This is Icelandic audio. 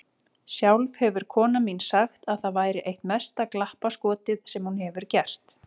Sjálf hefur konan mín sagt að það væri eitt mesta glappaskotið sem hún hefur gert.